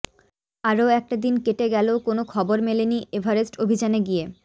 আরও একটা দিন কেটে গেলেও কোনও খবর মেলেনি এভারেস্ট অভিযানে গিয়ে